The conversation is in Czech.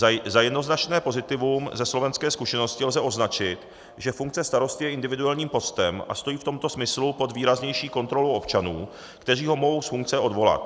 Za jednoznačné pozitivum ze slovenské zkušenosti lze označit, že funkce starostů je individuálním postem a stojí v tomto smyslu pod výraznější kontrolou občanů, kteří ho mohou z funkce odvolat.